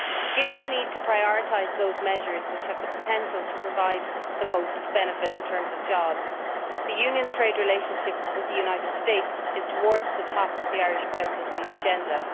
Given the need to prioritise those measures which have the potential to provide the most benefit in terms of jobs, the Union's trade relationship with the United States is towards the top of the Irish Presidency's agenda.